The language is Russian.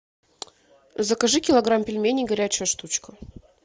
закажи килограмм пельменей горячая штучка